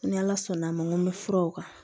Ni ala sɔnn' a ma n ko n bɛ furaw kan